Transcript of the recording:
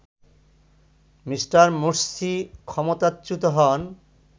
Me. Morsi ক্ষমতাচ্যুত হন